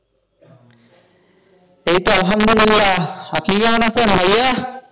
এই তো আলহামদুলিল্লাহ, আপনি কেমন আছেন ভাইয়া?